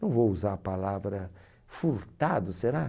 Não vou usar a palavra furtado, será?